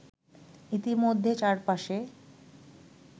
ইতিমধ্যে চার পাশে